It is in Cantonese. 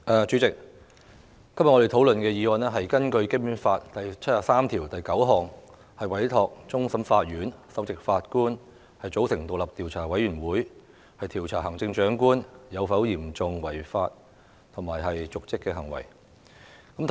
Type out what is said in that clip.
主席，我們今天討論根據《基本法》第七十三條第九項動議的議案，委托終審法院首席法官組成獨立調查委員會，調查對行政長官有嚴重違法及/或瀆職行為的指控。